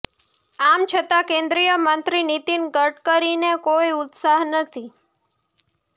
આમ છતાં કેન્દ્રીય મંત્રી નીતિન ગડકરીને કોઈ ઉત્સાહ નથી